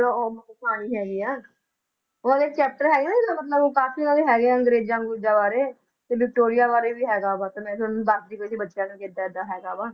ਕਹਾਣੀ ਹੈਗੀ ਹੈ chapter ਹੈਗਾ ਨਾ ਜਿਹੜਾ ਮਤਲਬ ਉਹ ਕਾਫ਼ੀ ਉਹਨਾਂ ਦੇ ਹੈਗੇ ਆ ਅੰਗਰੇਜ਼ਾਂ ਅਗਰੂਜ਼ਾਂ ਬਾਰੇ, ਤੇ ਵਿਕਟੋਰੀਆ ਬਾਰੇ ਵੀ ਹੈਗਾ ਵਾ, ਤੇ ਮੈਂ ਦੱਸਦੀ ਪਈ ਸੀ ਬੱਚਿਆਂ ਨੂੰ ਵੀ ਏਦਾਂ ਏਦਾਂ ਹੈਗਾ ਵਾ